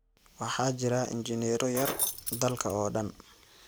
Waxaa jira injineero yar dalka oo dhan.